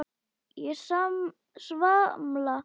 Ég svamla í fúlum pytti.